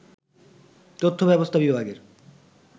তথ্য ব্যবস্থা বিভাগের